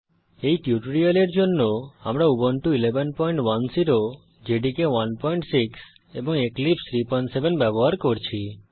এই টিউটোরিয়ালের জন্য আমরা উবুন্টু 1110 জেডিকে 16 এবং এক্লিপসে 37 ব্যবহার করছি